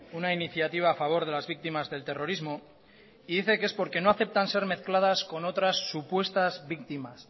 una iniciativa a favor de las víctimas del terrorismo y dice que es porque no aceptan ser mezcladas con otras supuestas víctimas